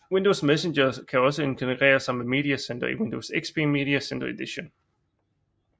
Windows Messenger kan også integrere sig med Media Center i Windows XP Media Center Edition